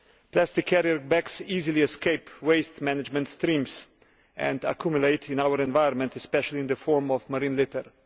Plastic carrier bags easily escape waste management streams and accumulate in our environment, especially in the form of marine litter.